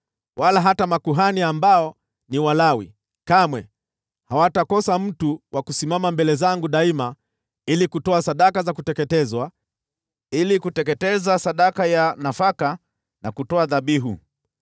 wala hata makuhani, ambao ni Walawi, kamwe hawatakosa mtu wa kusimama mbele zangu daima ili kutoa sadaka za kuteketezwa, ili kuteketeza sadaka ya nafaka na kutoa dhabihu.’ ”